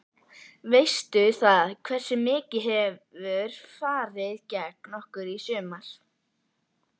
Veistu það, hversu mikið hefur farið gegn okkur í sumar?